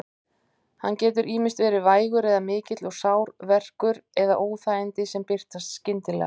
Hann getur ýmist verið vægur eða mikill og sár verkur eða óþægindi sem birtast skyndilega.